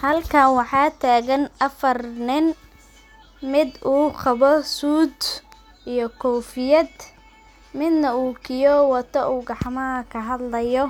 Halka waxa tagan afaar nin mid u wato suud midna u wato kifiyad, midna u gacmaha kahadlaya